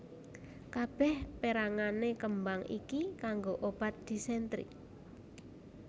Kabèh perangané kembang iki kanggo obat disentri